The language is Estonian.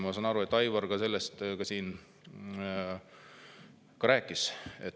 Ma saan aru, et Aivar ka sellest siin rääkis.